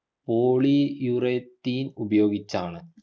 polyurethane ഉപയോഗിച്ചാണ്